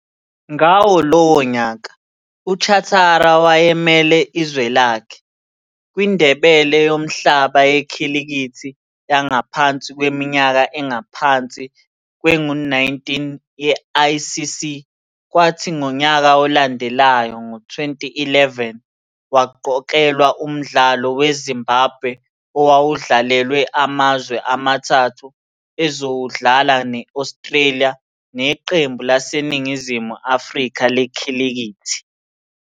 Ngawo lowo nyaka, uChatara wayemele izwe lakhe, kwiNdebe Yomhlaba Yekhilikithi Yangaphansi Kweminyaka Engaphansi Kwengu-19 ye-ICC, kwathi ngonyaka olandelayo, ngo-2011, waqokelwa umdlalo we-Zimbabwe owawudlalela amazwe amathathu ezowudlala ne-Australia neqembu laseNingizimu Afrika A lekhilikithi.